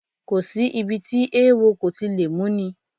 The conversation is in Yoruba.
Kò sí ibi tí eewo kò ti lè múni